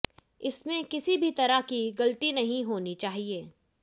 इसमें किसी भी तरह की गलती नहीं होनी चाहिए